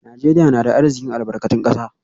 Najeriya na da arzikin albarkatun kasa